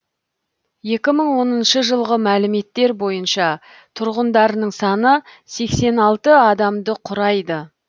екі мың оныншы жылғы мәліметтер бойынша тұрғындарының саны сексен алты адамды құрайды